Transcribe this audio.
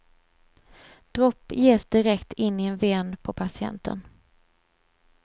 Dropp ges direkt in i en ven på patienten.